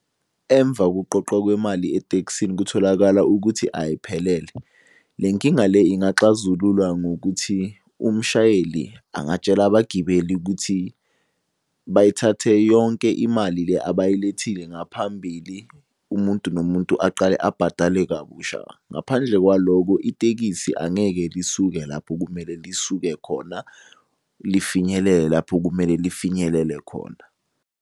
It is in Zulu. Emva kokuqoqwa kwemali etekisini kutholakala ukuthi ayiphelele. Le nkinga le ingaxazululwa ngokuthi umshayeli angatshela abagibeli ukuthi bayithathe yonke imali le abayilethile ngaphambili, umuntu nomuntu aqale abhadale kabusha. Ngaphandle kwalokho itekisi angeke lisuke lapho kumele lisuke khona, lifinyelele lapho kumele lifinyelele khona.